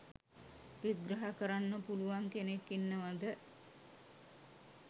විග්‍රහ කරන්න පුලුවන් කෙනෙක් ඉන්නවද?